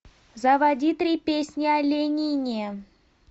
заводи три песни о ленине